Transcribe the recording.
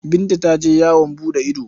Binta ta je yawon buɗe ido.